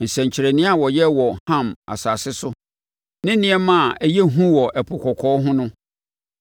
nsɛnkyerɛnneɛ a ɔyɛɛ wɔ Ham asase so ne nneɛma a ɛyɛ hu wɔ Ɛpo Kɔkɔɔ ho no.